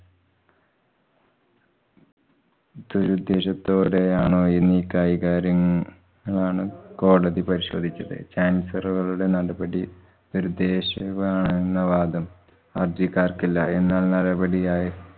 ദുരുദ്ദേശത്തോടെയാണോ ഇനി കൈകാര്യം ങ്ങളാണ് കോടതി പരിശോധിച്ചത്. chancellor കളുടെ നടപടി ദുരുദ്ദേശപമാണെന്ന വാദം ഹര്‍ജിക്കാര്‍ക്കില്ല എന്നാല്‍ നടപടിയായി